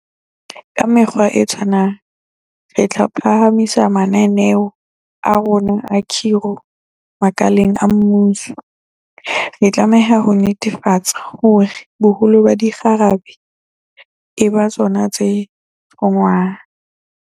Ka mekgwa e tshwanang, re tla phahamisa mananeo a rona a khiro makaleng a mmuso, re tlameha ho netefatsa hore boholo ba dikgarabe e ba tsona tse thongwang.